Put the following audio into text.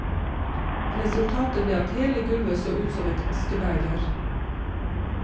Resultatet ble at hele gulvet så ut som et askebeger.